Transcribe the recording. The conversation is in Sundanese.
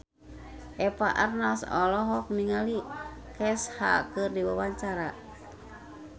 Eva Arnaz olohok ningali Kesha keur diwawancara